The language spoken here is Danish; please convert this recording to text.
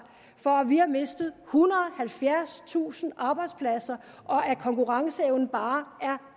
for at vi har mistet ethundrede og halvfjerdstusind arbejdspladser og at konkurrenceevnen bare er